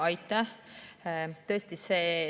Aitäh!